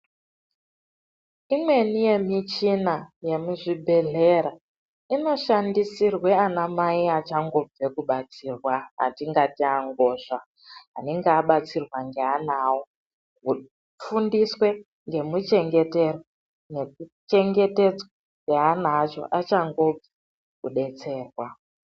Imweni yemichina yemuzvibhedhlera inoshandisirwe anamai achangobve kubatsirwa, atikangati angozva anenge abatsirwa ngeana avo. Kufundiswe ngemuchengeterwo nekuchengetedzwa kweana acho achangobve kudetserwa.